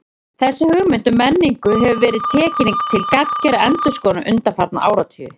Þessi hugmynd um menningu hefur verið tekin til gagngerrar endurskoðunar undanfarna áratugi.